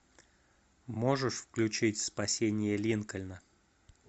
можешь включить спасение линкольна